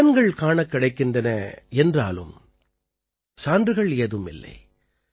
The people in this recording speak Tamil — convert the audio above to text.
பலன்கள் காணக் கிடைக்கின்றன என்றாலும் சான்றுகள் ஏதும் இல்லை